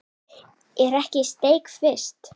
Er ekki steik fyrst?